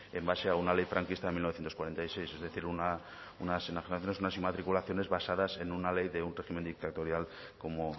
en base a una ley franquista en mil novecientos cuarenta y seis es decir unas enajenaciones unas inmatriculaciones basadas en una ley de un régimen dictatorial como